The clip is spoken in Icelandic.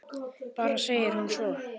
Bara segir hún svo.